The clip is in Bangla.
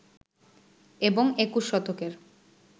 এবং ২১ শতকের